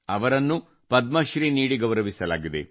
ಅವರನ್ನೂ ಪದ್ಮಶ್ರೀ ನೀಡಿ ಗೌರವಿಸಲಾಗಿದೆ